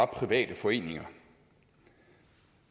private foreninger